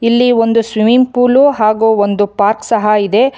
ಇಲ್ಲಿ ಒಂದು swimming pool ಹಾಗು ಒಂದು ಪಾರ್ಕ್ ಸಹ ಇದೆ.